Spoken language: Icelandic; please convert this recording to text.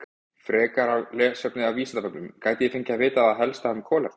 Frekara lesefni af Vísindavefnum: Gæti ég fengið að vita það helsta um kolefni?